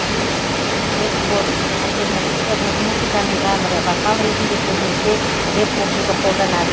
рэпкор альтернативті рок музыканың жанры вокал ретінде көбінесе рэп оқуды қолданады